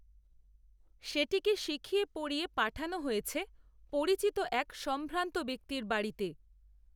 সেটিকে শিখিয়ে পড়িয়ে পাঠানো হয়েছে, পরিচিত এক সম্ভ্রান্ত ব্যক্তির বাড়িতে